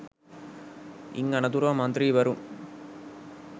ඉන් අනතුරුව මන්ත්‍රීවරුන්